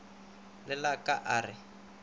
le la ka a re